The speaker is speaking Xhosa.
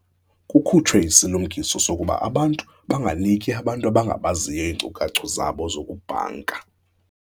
Kukhutshwe isilumkiso sokuba abantu banganiki abantu abangabaziyo iinkcukacha zabo zokubhanka.